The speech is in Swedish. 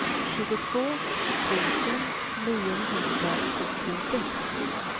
tjugotvå tusen niohundrasjuttiosex